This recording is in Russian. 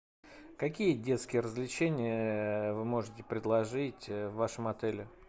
какие детские развлечения вы можете предложить в вашем отеле